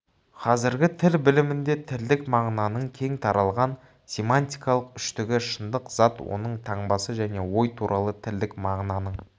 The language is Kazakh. қазіргі тіл білімінде тілдік мағынаның кең таралған семантикалық үштігі шындық зат оның таңбасы және ой туралы тілдік мағынаның